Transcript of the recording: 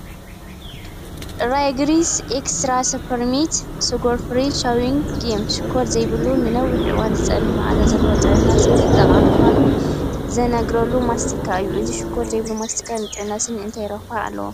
'Wrigley's Extra Spearmint Sugarfree Chewing Gum' ሽኮር ዘይብሉ፡ ንነዊሕ እዋን ዝጸንሕ መኣዛ ዘለዎ፡ ንጥዕና ስኒ ጠቓሚ ምዃኑ ዝንገረሉ ማስቲካ እዩ። እዚ ሽኮር ዘይብሉ ማስቲካ ንጥዕና ስኒ እንታይ ረብሓ ኣለዎ?